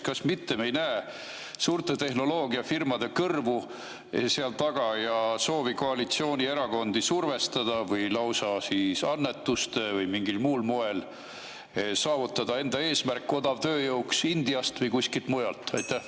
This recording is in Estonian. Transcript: Kas me ei näe seal taga mitte suurte tehnoloogiafirmade kõrvu ja soovi koalitsioonierakondi survestada või lausa annetustega või mingil muul moel saavutada eesmärk, odavtööjõud Indiast või kuskilt mujalt?